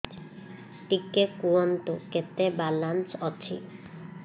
ଟିକେ କୁହନ୍ତୁ କେତେ ବାଲାନ୍ସ ଅଛି